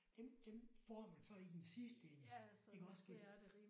Dem dem får man så i den sidste ende i restgæld